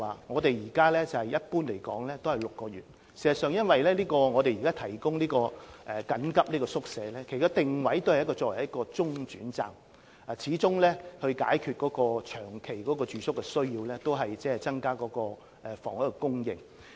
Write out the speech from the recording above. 我想指出，現時一般的居住期是6個月，因為我們提供這些緊急宿舍，其定位是作為中轉站；若要解決露宿者的長期住宿需要，始終要靠增加房屋供應。